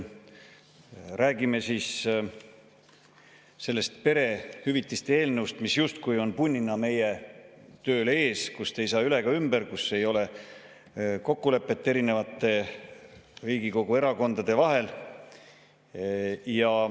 Räägime siis sellest perehüvitiste eelnõust, mis justkui on punnina meie tööl ees, millest ei saa üle ega ümber, kus ei ole kokkulepet Riigikogu erakondade vahel.